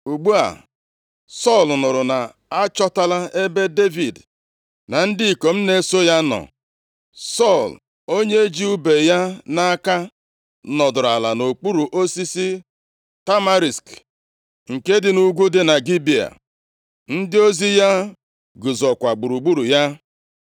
Ugbu a Sọl nụrụ na achọtala ebe Devid na ndị ikom na-eso ya nọ. Sọl, onye ji ùbe ya nʼaka nọdụrụ ala nʼokpuru osisi tamarisk nke dị nʼugwu dị na Gibea. Ndị ozi ya guzokwa gburugburu ya.